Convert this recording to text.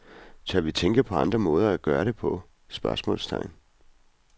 Tør vi tænke på andre måder at gøre det på? spørgsmålstegn